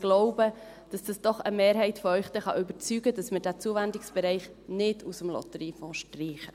Ich glaube, dass das doch eine Mehrheit von Ihnen überzeugen kann, dass man diesen Zuwendungsbereich nicht aus dem Lotteriefonds streicht.